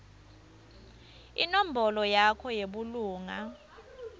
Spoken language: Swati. inombolo yakho yebulunga